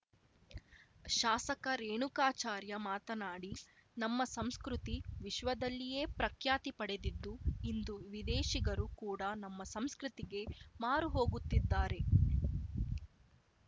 ಶಾಸಕ ರೇಣುಕಾಚಾರ್ಯ ಮಾತನಾಡಿ ನಮ್ಮ ಸಂಸ್ಕೃತಿ ವಿಶ್ವದಲ್ಲಿಯೇ ಪ್ರಖ್ಯಾತಿ ಪಡೆದಿದ್ದು ಇಂದು ವಿದೇಶಿಗರು ಕೂಡಾ ನಮ್ಮ ಸಂಸ್ಕೃತಿಗೆ ಮಾರು ಹೋಗುತ್ತಿದ್ದಾರೆ